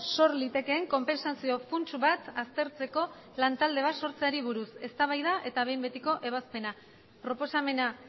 sor litekeen konpentsazio funts bat aztertzeko lantalde bat sortzeari buruz eztabaida eta behin betiko ebazpena proposamena